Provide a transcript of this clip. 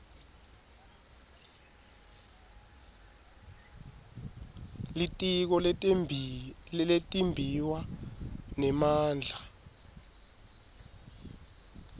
litiko letimbiwa nemandla